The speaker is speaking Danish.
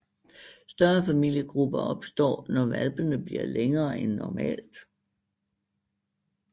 Større familiegrupper opstår når hvalpene bliver længere end normalt